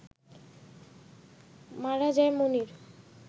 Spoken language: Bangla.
মারা যায় মনির